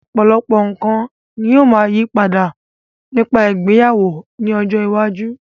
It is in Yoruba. Ọ̀pọ̀lọpọ̀ nǹkan ní ó máa yí padà nípa ìgbéyàwó ní ọjọ́ iwájú.